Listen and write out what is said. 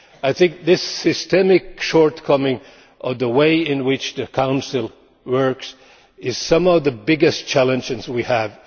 I think this systemic shortcoming in the way in which the Council works is one of the biggest challenges we have.